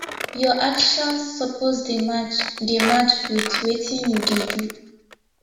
your actions suppose dey match dey match wit wetin you dey do